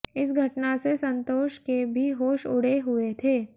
इस घटना से संतोष के भी होश उड़े हुए थे